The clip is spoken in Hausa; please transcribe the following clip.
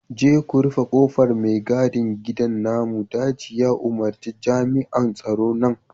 je ku rufe kofar mai gadin gidan namun daji ya umarci jami'an tsaron nan